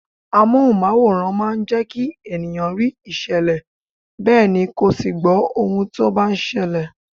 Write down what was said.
Amohunmaworan máa ń jẹkí ènìyàn rí ìṣẹ̀lẹ̀ bẹ́ẹ̀ ni kó sì gbó ohun tó bá ń ṣẹlẹ̀.